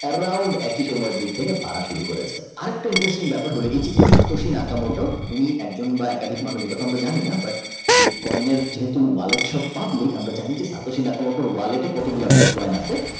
তার Round একই সময় দিক থেকে বাড়া শুরু করেছে আরেকটা Interesting ব্যাপার হল এই যে যে তাতোসি নাকা মোটা উনি একজন মানুষ এবং একাধিক মানুষ সেটা আমরা জানি না বাট বিটকয়েনের Wallet সব public আমরা জানি যে তা তো সিনাকা মোটা ওয়ালেটে কতগুলি বিটকয়েন আছে।